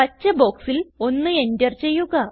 പച്ച ബോക്സിൽ 1 എന്റർ ചെയ്യുക